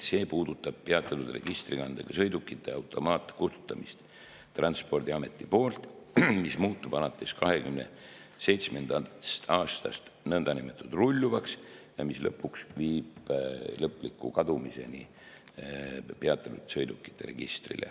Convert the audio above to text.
See puudutab peatatud registrikandega sõidukite automaatkustutamist Transpordiameti poolt, mis muutub alates 2027. aastast nii-öelda rulluvaks ja mis lõpuks viib lõpliku kadumiseni peatatud sõidukite registrist.